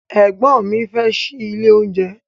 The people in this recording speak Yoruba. Ẹ̀gbọ́n mi fẹ́ ṣílé oúnjẹ.